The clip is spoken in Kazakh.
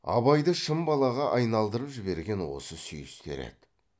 абайды шын балаға айналдырып жіберген осы сүйістер еді